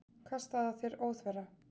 Kastað að þér óþverra.